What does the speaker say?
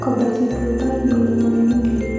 కొబ్బరి చెట్లు తో ఈ బిల్డింగ్ అనేది ఉంది.